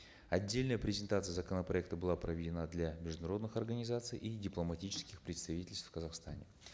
отдельная презентация законопроекта была проведена для международных организаций и дипломатических представительств в казахстане